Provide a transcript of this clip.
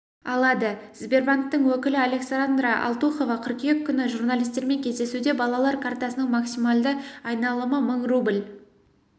алады сбербанктың өкілі александра алтухова қыркүйек күні журналистермен кездесуде балалар картасының максималды айналымы мың рубль